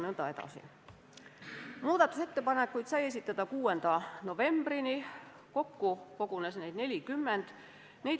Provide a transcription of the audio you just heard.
Muudatusettepanekuid sai esitada 6. novembrini, kokku kogunes neid 40.